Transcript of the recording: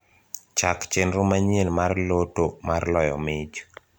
chak chenro manyien mar loto mar loyo mich